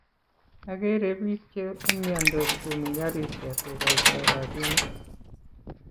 agere piik che umiandos komi garishek ko koitoi rabinik